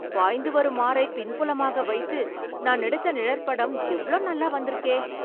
பாய்ந்து வரும் ஆறை பின்புலமாக வைத்து, நான் எடுத்த நிழற்படம் எவ்ளோ நல்லா வந்துருக்கே...